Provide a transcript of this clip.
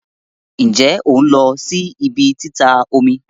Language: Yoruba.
Nje on lo si ibi tita omi?